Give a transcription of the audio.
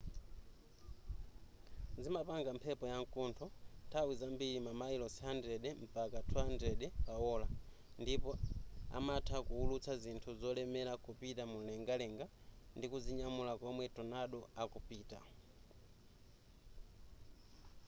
zimapanga mphepo ya mkuntho nthawi zambiri mamayilosi 100-200 / ola ndipo amatha kuwulutsa zinthu zolemera kupita mumlengalenga ndikuzinyamula komwe tornado akupita